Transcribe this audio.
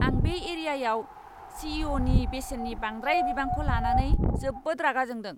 आं बे एरियायाव सी.ई.अ'.नि बेसेननि बांद्राय बिबांखौ लानानै जोबोद रागा जोंदों!